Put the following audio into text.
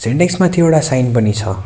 सिन्टेक्स माथि एउडा साइन पनि छ।